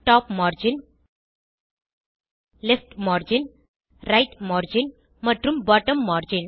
top margin left margin right margin மற்றும் bottom margin